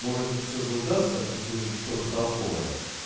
может все же удастся услышать что-то толковое